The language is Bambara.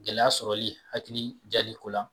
Gɛlɛya sɔrɔli hakili diyali ko la